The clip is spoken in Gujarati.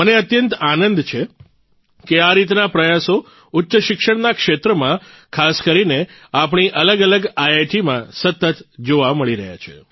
મને અત્યંત આનંદ છે કે આ રીતના પ્રયાસો ઉચ્ચ શિક્ષણના ક્ષેત્રમાં ખાસ કરીને આપણી અલગ અલગ આઇઆઇટીમાં સતત જોવા મળી રહ્યા છે